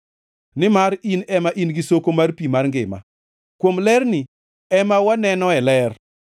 Nimar in ema in gi soko mar pi mar ngima; kuom lerni ema wanenoe ler.